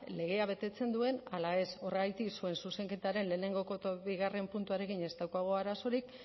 legea betetzen duen ala ez horregatik zuen zuzenketaren lehenengo eta bigarren puntuarekin ez daukagu arazorik